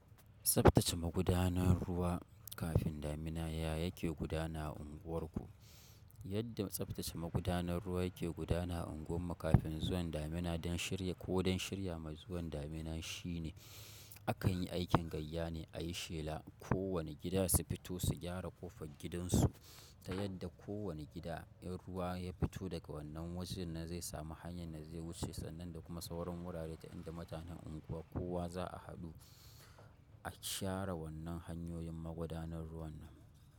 Tsaftace magudanar ruwa kafin damuna ya yake gudana a unguwarku. Yadda tsaftace magudanar ruwa yake gudana a unguwar mu kafin zuwan damina don shirya ko don shirya ma zuwan damina shine, akan yi aikin gayya ne a yi shela. Ko wane gida su fito su gyara ƙofar gidansu ta yadda kowane gida, in ruwa ya fito daga wannan wajen na zai samu hanyar da zai wuce sannan da kuma sauran wurare ta inda mutanen unguwa kowa za a haɗu a share wannan hanyoyin magudanar ruwan nan.